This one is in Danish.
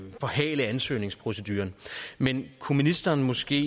forhale ansøgningsproceduren men kunne ministeren måske